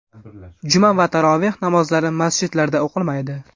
Juma va taroveh namozlari masjidlarda o‘qilmaydi.